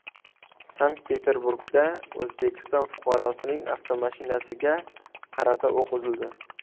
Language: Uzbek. Sankt-Peterburgda O‘zbekiston fuqarosining avtomashinasiga qarata o‘q uzildi.